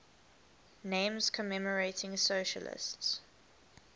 names commemorating socialist